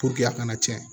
a kana cɛn